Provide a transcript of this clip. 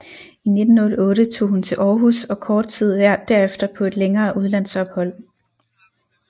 I 1908 tog hun til Århus og kort tid derefter på et længere udlandsophold